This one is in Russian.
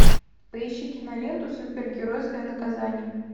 поищи киноленту супергеройское наказание